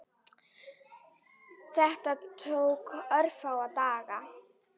Þetta tók örfáa daga.